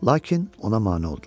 Lakin ona mane oldular.